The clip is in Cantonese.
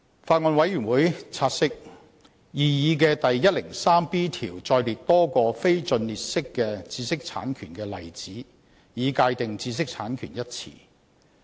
法案委員會察悉，擬議的第 103B 條載列多個非盡列式的知識產權的例子，以界定"知識產權"一詞。